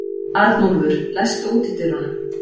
Arnúlfur, læstu útidyrunum.